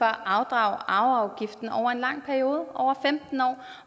afdrage arveafgiften over en lang periode over femten